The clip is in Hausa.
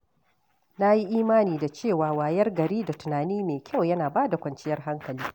Na yi imani da cewa wayar gari da tunani mai kyau yana ba da kwanciyar hankali.